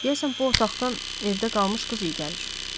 Deyəsən bu otaqdan evdə qalmış qız iyi gəlir.